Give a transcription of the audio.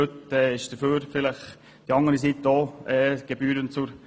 Heute kam die andere Seite auch gebührend zu Wort.